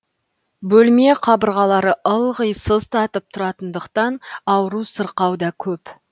бөлме қабырғалары ылғи сыз татып тұратындықтан ауру сырқау да көп